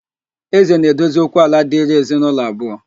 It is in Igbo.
Ézē na-edozi okwu ala dịrị ezinaulọ abụọ